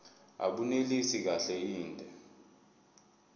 abunelisi kahle inde